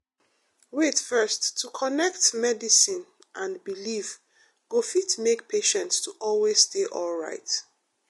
wait first — to connect medicine and belief go fit make patients to always dey alright